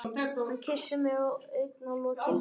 Hann kyssir mig á augnalokin.